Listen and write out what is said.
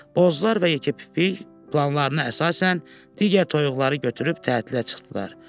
Bozlar və yekəpipik planlarına əsasən digər toyuqları götürüb tətilə çıxdılar.